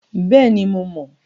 Bẹ́ẹ̀ni, mo mọ̀.